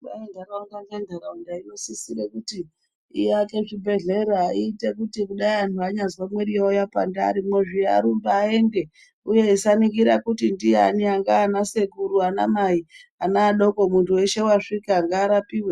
Kwai ntaraunda ngentaraunda inosisire kuti iake zvibhedhlera iite kuti dai anhu anyazwa mwiri yawo yapanda arimwo zviya arumbe aende uye asaningira kuti ndiani angaa ana sekuru ana mai ana adoko munthu weshe wasvika ngaarapiwe.